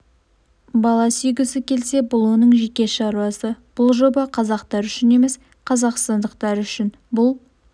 бала сүйгісі келсе бұл оның жеке шаруасы бұл жоба қазақтар үшін емес қазақстандықтар үшін бұл